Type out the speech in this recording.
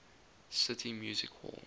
city music hall